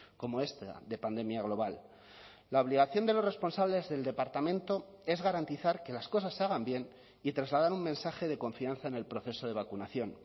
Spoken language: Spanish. como esta de pandemia global la obligación de los responsables del departamento es garantizar que las cosas se hagan bien y trasladar un mensaje de confianza en el proceso de vacunación